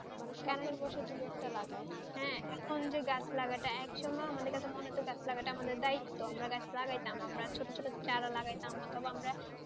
মানুষ কাছে বসে হ্যাঁ এখন যে গাছ লাগাটা এক সঙ্গে আমাদের কাছে মনে হতো গাছ লাগাটা আমাদের দায়িত্ব আমরা গাছ লাগাতাম আমরা ছোটো ছোটো চারা লাগাতাম পথমে